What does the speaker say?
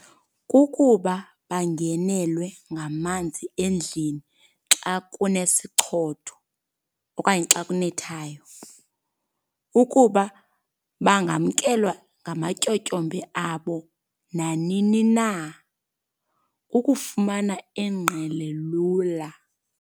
Kukuba bangenelwe ngamanzi endlini xa kunesichotho okanye xa kunethayo. Ukuba bangamkelwa ngamatyotyombe abo nanini na. Ukufumana ingqele lula.